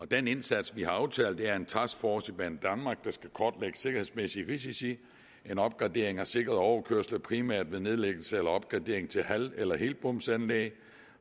den indsats vi har aftalt er en taskforce hos banedanmark der skal kortlægge sikkerhedsmæssige risici en opgradering af sikrede overkørsler primært ved nedlæggelse eller opgradering til halv eller helbomsanlæg